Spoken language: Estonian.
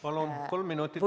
Palun, kolm minutit lisaaega.